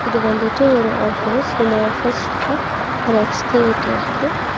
இது வந்துட்டு ஒரு ஆபீஸ் இந்த ஆபீஸ்ல ஒரு எஸ்கலேட்டர் இருக்கு.